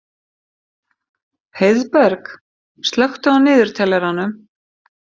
Heiðberg, slökktu á niðurteljaranum.